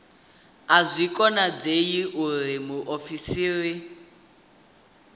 a zwi konadzei uri muofisiri